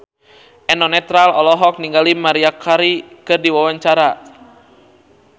Eno Netral olohok ningali Maria Carey keur diwawancara